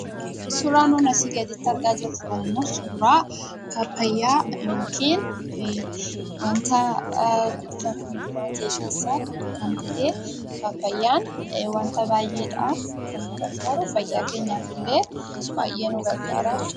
Suuraan nuuni asii gaditti argaa jirru kunimmoo suuraa paappayyaa yookiin wanta kuduraaf muduraa ta'e keessa tokko kan ta'ee paappayyaan wanta baayyeedhaaf kan nu gargaaru fayyaa keenyaafillee baayyee nu gargaara jechuudha.